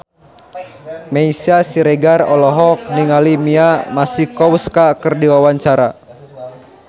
Meisya Siregar olohok ningali Mia Masikowska keur diwawancara